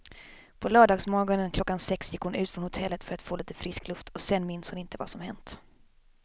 På lördagsmorgonen klockan sex gick hon ut från hotellet för att få lite frisk luft och sen minns hon inte vad som hänt.